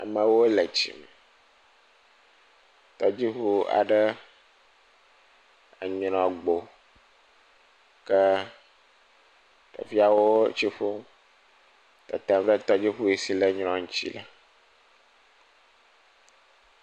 Amewo le tsi me. Tɔdziŋu aɖe enyrɔ gbo ke ɖeviawo etsi ƒum tetem ɖe tɔdziŋu si ne nyrɔ ŋutsi le.